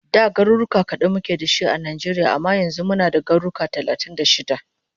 Da garuruka kadan muke dashi a Nijeria amma yanzu muna da garuka talatin da shida